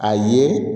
A ye